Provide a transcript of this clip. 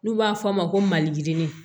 N'u b'a fɔ a ma ko maliyirinin